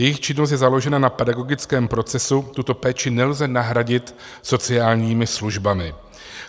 Jejich činnost je založena na pedagogickém procesu, tuto péči nelze nahradit sociálními službami.